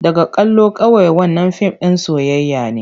Daga kallo kawai, wannan fim ɗin soyayya ne.